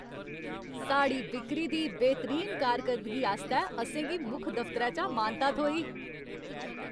साढ़ी बिक्री दी बेह्तरीन कारकरदगी आस्तै असें गी मुक्ख दफ्तरै चा मानता थ्होई।